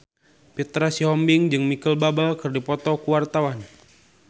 Petra Sihombing jeung Micheal Bubble keur dipoto ku wartawan